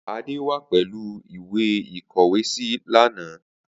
Ade wà pẹlu mi ìwé ìkọwésí lana.